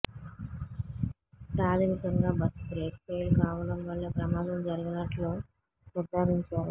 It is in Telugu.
ప్రాథమికంగా బస్సు బ్రేక్ ఫెయిల్ కావడం వల్లే ప్రమాదం జరిగినట్లు నిర్ధారించారు